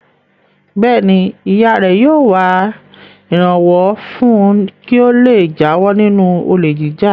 Bẹ́ẹ̀ ni, ìyá rẹ̀ yóò wá ìrànwọ́ fún un kí ó le jáwọ́ nínú olè jíjà.